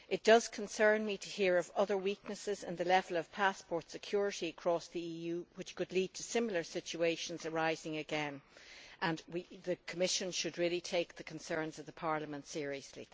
It concerns me to hear of other weaknesses in the level of passport security across the EU which could lead to similar situations arising again, and the Commission should really take the concerns of Parliament seriously.